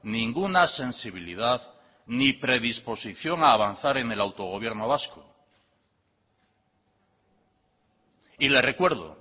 ninguna sensibilidad ni predisposición a avanzar en el autogobierno vasco y le recuerdo